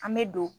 An bɛ don